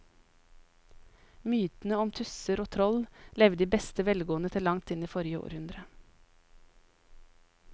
Mytene om tusser og troll levde i beste velgående til langt inn i forrige århundre.